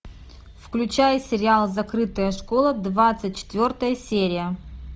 включай сериал закрытая школа двадцать четвертая серия